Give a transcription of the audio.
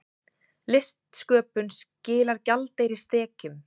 Listsköpun skilar gjaldeyristekjum